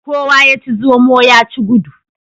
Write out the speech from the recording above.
Kowa ya ci zomo ya ci gudu.